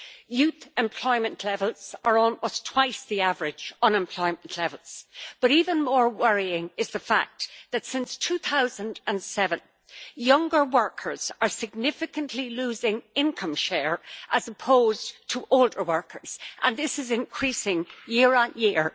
Youth employment levels are almost twice the average unemployment levels, but even more worrying is the fact that since 2007 younger workers are significantly losing income share as opposed to older workers, and this is increasing year on year.